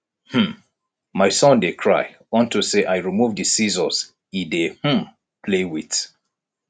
um my son dey cry unto say i remove the scissors he dey um play with